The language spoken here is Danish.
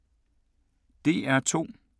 DR2